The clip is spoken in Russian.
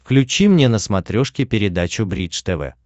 включи мне на смотрешке передачу бридж тв